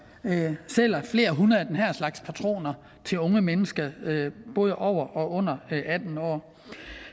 sælger flere hundrede af den her slags patroner til unge mennesker både over og under atten år